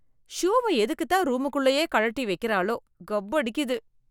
ஷூவை எதுக்குதான் ரூமுக்குள்ளயே கழட்டி வெக்கறாளோ, கப் அடிக்குது.